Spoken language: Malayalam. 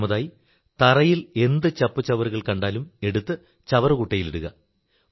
രണ്ടാമതായി തറയിൽ എന്തു ചപ്പുചവറുകൾ കണ്ടാലും എടുത്ത് ചവറുകുട്ടയിൽ ഇടുക